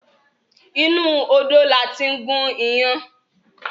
Inú odó la tí ń gún iyán